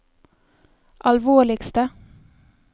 alvorligste